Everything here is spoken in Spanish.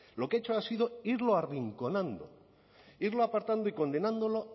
lo que ha hecho ha sido irlo arrinconando irlo aportando y condenándolo